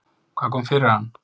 Hvað kom fyrir hann?